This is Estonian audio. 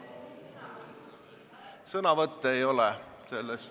Sõnavõtte ei ole selles ...